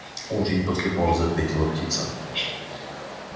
очень после паузы ответила птица